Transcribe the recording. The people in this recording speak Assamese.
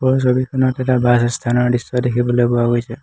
ওপৰৰ ছবিখনত এটা বাছ আস্থানৰ দৃশ্য দেখিবলৈ পোৱা গৈছে।